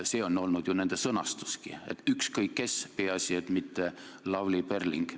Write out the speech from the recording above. Nii nad ongi ju öelnud, et ükskõik kes, peaasi et mitte Lavly Perling.